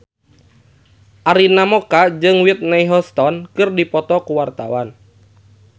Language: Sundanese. Arina Mocca jeung Whitney Houston keur dipoto ku wartawan